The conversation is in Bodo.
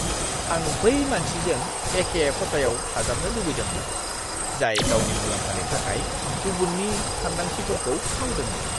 आं बै मानसिजों एखे खथायाव थाजाबनो लुबैदोंमोन, जाय गावनि मुलाम्फानि थाखाय गुबुननि सानदांथिफोरखौ खावदोंमोन!